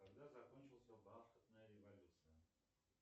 когда закончилась бархатная революция